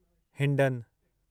Hindon